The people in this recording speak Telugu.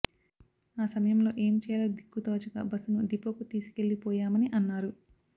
ఆ సమయంలో ఏమి చేయాలో దిక్కుతోచక బస్సును డిపోకు తీసుకెళ్లిపోయామని అన్నారు